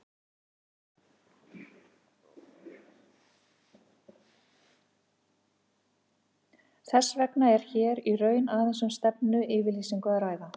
Þess vegna er hér í raun aðeins um stefnuyfirlýsingu að ræða.